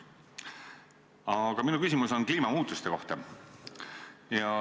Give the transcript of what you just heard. Aga minu küsimus on kliimamuutuste kohta.